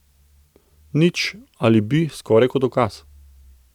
Nič, ali bi, skoraj kot ukaz.